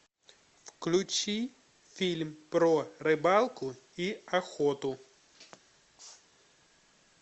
включи фильм про рыбалку и охоту